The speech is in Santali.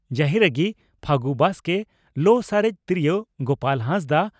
ᱡᱟᱹᱦᱤᱨᱟᱜᱤ (ᱯᱷᱟᱹᱜᱩ ᱵᱟᱥᱠᱮ) ᱞᱚ ᱥᱟᱨᱮᱡ ᱛᱤᱨᱭᱳ (ᱜᱚᱯᱟᱞ ᱦᱟᱸᱥᱫᱟᱜ)